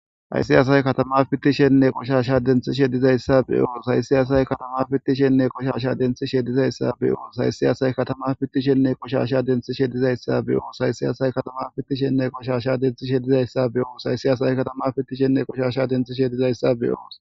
Ayssi asay katama fittishenne qoshasha denthi shedizayssa beyoos hayssiyasay katama fittishenne qoshasha denthi shedizayssa beyoos haysiy asay katama fittishenne qoshasha denthi shedizayssa beyoos haysi asay katama fittishenne qoshasha denthi shedizayssa be7oos hayssi asay katama fittishenne qoshasha denthi shedizayssa be7oos